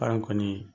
Arɔn kɔni